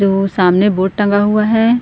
जो सामने बोर्ड टंगा हुआ हैं।